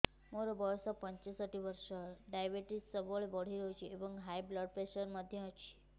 ମୋର ବୟସ ପଞ୍ଚଷଠି ବର୍ଷ ଡାଏବେଟିସ ସବୁବେଳେ ବଢି ରହୁଛି ଏବଂ ହାଇ ବ୍ଲଡ଼ ପ୍ରେସର ମଧ୍ୟ ଅଛି